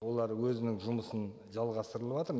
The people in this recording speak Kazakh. олар өзінің жұмысын жалғастырылыватыр